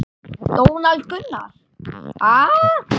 Donald Gunnar: Ha?